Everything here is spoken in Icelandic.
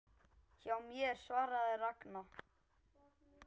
Hjá mér? svaraði Ragna.